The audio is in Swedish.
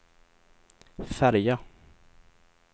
färja